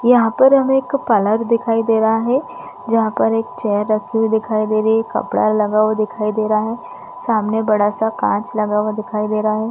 यहाँ पर हमे एक तालाब दिखाई दे रहा है जहाँ पर एक चेयर रखी हुई दिखाई दे रही रही है कपडा लगा हुआ दिखाई दे रहा है सामने बड़ा सा कांच लगा हुआ दिखाई दे रहा है।